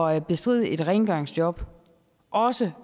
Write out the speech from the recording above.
at bestride et rengøringsjob også